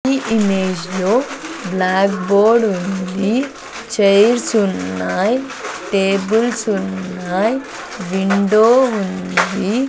ఈ ఇమేజ్ లో blackboard ఉంది చైర్స్ ఉన్నాయ్ టేబుల్స్ ఉన్నాయ్ విండో ఉంది.